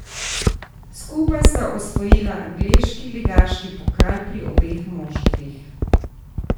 Skupaj sta osvojila angleški ligaški pokal pri obeh moštvih.